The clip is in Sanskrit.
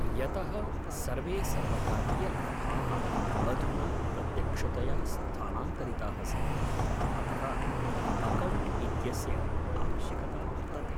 यतः सर्वे सर्वकारीयलाभाः अधुना प्रत्यक्षतया स्थानान्तरिताः सन्ति, अतः अकौणट् इत्यस्य‌ आवश्यकता वर्तते।